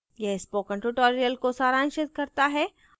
यह spoken tutorial को सारांशित करता है